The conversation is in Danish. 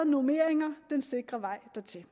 normeringer den sikre vej dertil